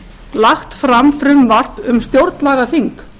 lagt fram frumvarp um stjórnlagaþing